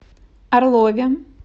орлове